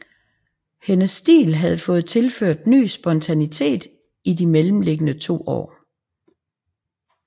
Hendes stil havde fået tilført ny spontanitet i de mellemliggende to år